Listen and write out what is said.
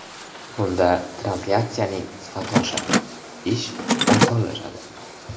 Bunda translyatsiyaning sifati oshadi, ish osonlashadi.